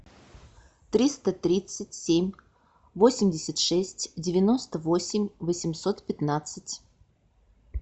триста тридцать семь восемьдесят шесть девяносто восемь восемьсот пятнадцать